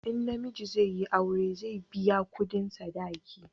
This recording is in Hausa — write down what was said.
in namiji zai yi aure, zai biya kudin sadaki